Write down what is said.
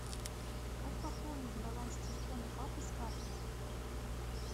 как пополнить баланс телефона папы с карты